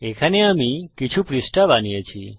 এখানে আমি কিছু পৃষ্ঠা বানিয়েছি